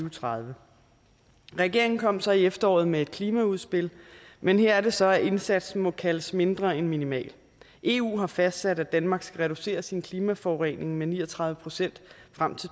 og tredive regeringen kom så i efteråret med et klimaudspil men her er det så at indsatsen må kaldes mindre end minimal eu har fastsat at danmark skal reducere sin klimaforurening med ni og tredive procent frem til